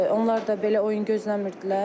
Onlar da belə oyun gözləmirdilər.